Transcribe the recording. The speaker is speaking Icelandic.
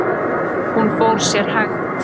Hún fór sér hægt.